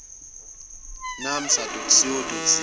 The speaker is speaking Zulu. naamsa co za